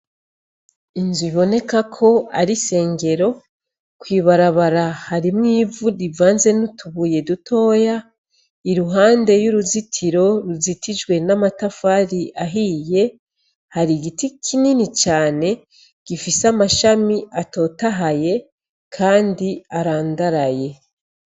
Inzu iboneka ko ari sengero kwibarabara harimwo ivu rivanze n'utubuye dutoya i ruhande y'uruzitiro ruzitijwe n'amatafari ahiye hari igiti kinini cane gifise amashami atotahaye, kandi aria andaraye.